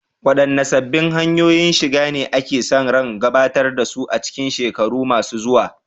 Waɗanne sabbin hanyoyin shiga ne ake sa ran gabatar da su a cikin shekaru masu zuwa?